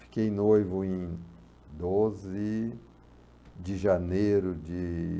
Fiquei noivo em doze de janeiro de